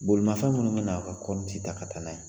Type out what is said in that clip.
Bolimafɛn minnu bɛn'a ka kɔɔrici ta ka taa n'a ye